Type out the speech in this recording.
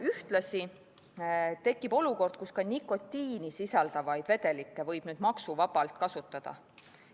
Ühtlasi tekib olukord, kus ka nikotiini sisaldavaid vedelikke võib nüüd maksuvabalt kasutada.